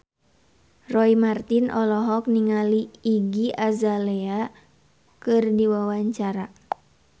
Roy Marten olohok ningali Iggy Azalea keur diwawancara